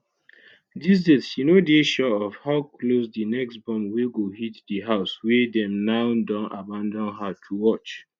these days she no dey sure of how close di next bomb wey go hit di house wey dem now don abandon her to watch